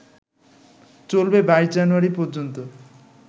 চলবে ২২ জানুয়ারি পর্যন্ত